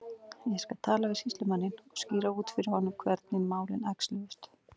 Ég skal tala við sýslumanninn og skýra út fyrir honum hvernig málin æxluðust.